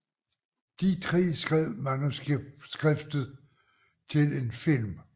De tre skrev manuskriptet til en film